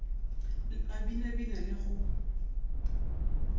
le a binabina le go